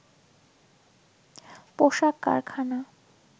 পোশাক কারখানা